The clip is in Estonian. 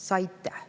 Saite!